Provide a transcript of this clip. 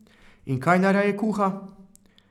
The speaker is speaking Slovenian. In kaj najraje kuha?